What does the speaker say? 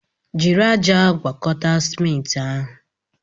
Were ájá gwakọta simenti ahụ!